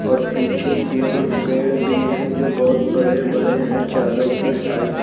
और पीछे की ओर पेड़ भी हैं जो बहुत बड़े बड़े हैं चारों की साइट ।